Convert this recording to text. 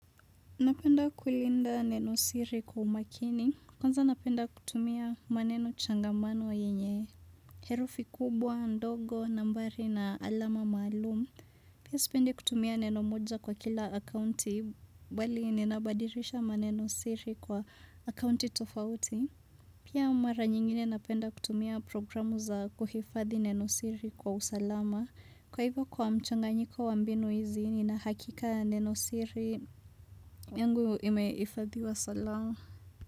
Napenda kulinda neno siri kwa umakini. Kwanza napenda kutumia maneno changamano yenye. Herufi kubwa, ndogo, nambari na alama maalum. Pia sipendi kutumia neno moja kwa kila akaunti bali ninabadilisha maneno siri kwa akaunti tofauti. Pia mara nyingine napenda kutumia programu za kuhifadhi neno siri kwa usalama. Kwa hivyo kwa mchanganyiko wa mbinu hizi, nina hakika neno siri yangu imeifadhiwa salama.